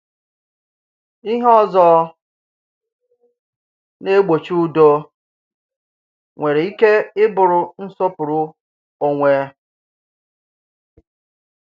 Ìhe òzò na-ègbòchì udo ǹwère ìkè ìbụ̀rụ̀ nsòpùrù ònwè